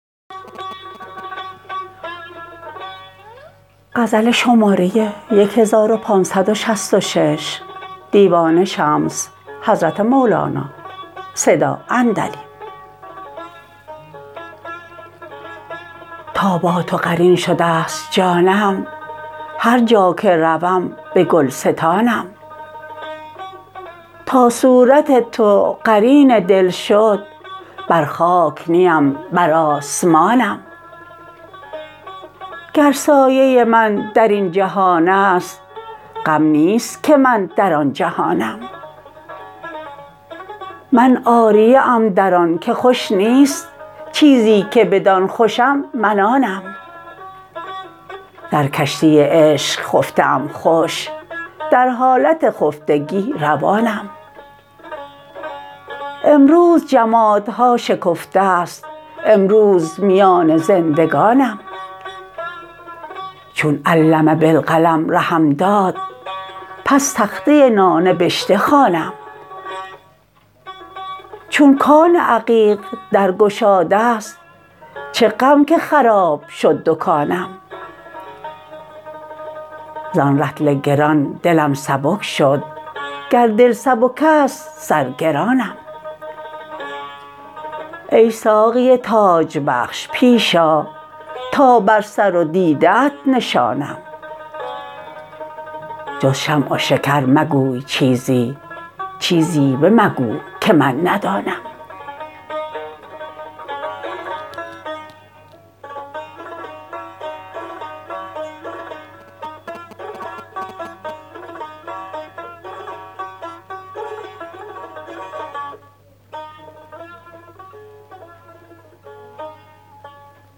تا با تو قرین شده ست جانم هر جا که روم به گلستانم تا صورت تو قرین دل شد بر خاک نیم بر آسمانم گر سایه من در این جهان است غم نیست که من در آن جهانم من عاریه ام در آن که خوش نیست چیزی که بدان خوشم من آنم در کشتی عشق خفته ام خوش در حالت خفتگی روانم امروز جمادها شکفته ست امروز میان زندگانم چون علم بالقلم رهم داد پس تخته نانبشته خوانم چون کان عقیق در گشاده ست چه غم که خراب شد دکانم زان رطل گران دلم سبک شد گر دل سبک است سرگرانم ای ساقی تاج بخش پیش آ تا بر سر و دیده ات نشانم جز شمع و شکر مگوی چیزی چیزی بمگو که من ندانم